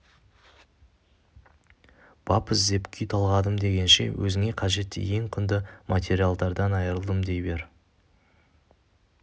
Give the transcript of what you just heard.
бап іздеп күй талғадым дегенше өзіңе қажетті ең құнды материалдан айырылдым дей бер